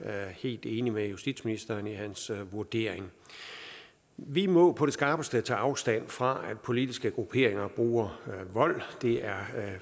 er helt enig med justitsministeren i hans vurdering vi må på det skarpeste tage afstand fra at politiske grupperinger bruger vold det er